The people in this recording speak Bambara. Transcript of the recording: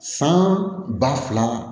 San ba fila